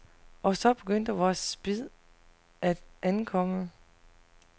Og så begyndte vores spid at ankomme.